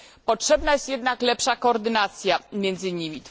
Potrzebna jest jednak lepsza koordynacja między nimi.